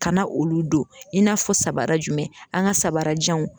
Kana olu don i n'a fɔ sabara jumɛn an ka sabarajanw.